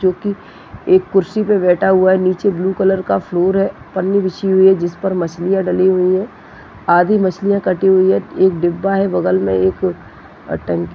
--जो की एक कुर्सी पे बैठा हुआ है नीचे ब्लू कलर का फ्लोर है पन्नी बिछी हुई है जिस पर मछलिया डली हुई है आधी मछलिया कटी हुई है एक डिब्बा है बगल में एक --]